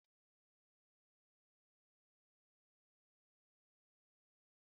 Akụkọ ogologo bụ akụkọ na-atọ ọchị ga-eme ka ị chịa ọchị